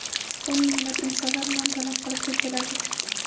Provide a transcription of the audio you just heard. O‘n minglab insonlar non talab qilib ko‘chalarga chiqdi.